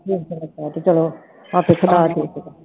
ਚਲੋ